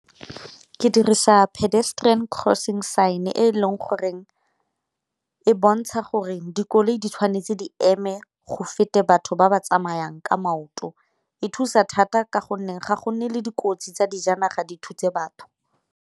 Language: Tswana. Ke dirisa pedestrian crossing sign e e leng goreng e bontsha gore dikoloi di tshwanetse di eme go fete batho ba ba tsamayang ka maoto, e thusa thata ka gonne ga gonne le dikotsi tsa dijanaga di thutse batho.